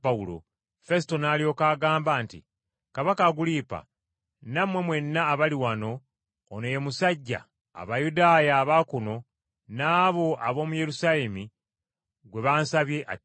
Fesuto n’alyoka agamba nti, “Kabaka Agulipa, nammwe mwenna abali wano ono ye musajja, Abayudaaya aba kuno n’abo ab’omu Yerusaalemi, gwe bansabye attibwe!